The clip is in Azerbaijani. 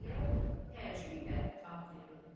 Zeynəb təəccüb ilə cavab verdi.